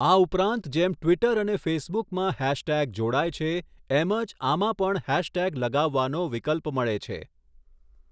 આ ઉપરાંત જેમ ટ્વિટર અને ફેસબુકમાં હૈશટેગ જોડાય છે એમજ આમાં પણ હૈશટેગ લગાવવાનો વિકલ્પ મળે છે.